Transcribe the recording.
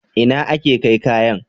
Ina ake kai kayan?